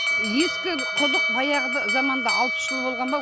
ескі құдық баяғы заманда алпыс жыл болған ба